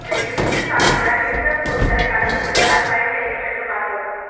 இந்த இஞ்சி சாற்றுடன் எந்த பொருட்களை கலந்து குடிப்பதால் பயன் கிடைக்கும் என்று பார்ப்போம்